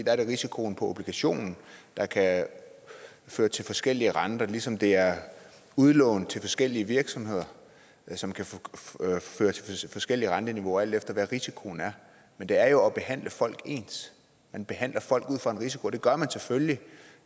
er det risikoen på obligationen der kan føre til forskellige renter ligesom det er udlån til forskellige virksomheder som kan føre til forskellige renteniveauer alt efter hvad risikoen er men det er jo at behandle folk ens man behandler folk ud fra en risiko og det gør man selvfølgelig